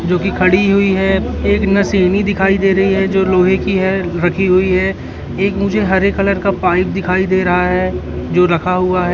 जो कि खड़ी हुई है एक नशिनी दिखाई दे रही है जो लोहे की है रखी हुई है एक मुझे हरे कलर का पाइप दिखाई दे रहा है जो रखा हुआ--